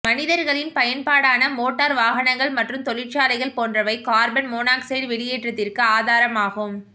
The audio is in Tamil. மனிதர்களின் பயன்பாடான மோட்டர் வாகனங்கள் மற்றும் தொழிற்சாலைகள் போன்றவை கார்பன் மோனாக்ஸைடு வெளியேற்றத்திற்கு ஆதாரமாகும்